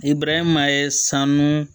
I burankɛ ma ye sanu